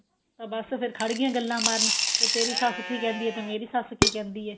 ਬੱਸ ਫੇਰ ਖੜ ਗੀਆਂ ਗੱਲਾਂ ਮਾਰਣ ਤੇਰੀ ਸੱਸ ਕੀ ਕਹਿੰਦੀ ਏ ਤੇ ਮੇਰੀ ਸੱਸ ਕੀ ਏ